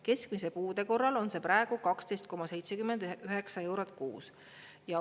Keskmise puude korral on see praegu 12,79 eurot kuus.